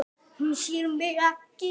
Hún sér mig ekki.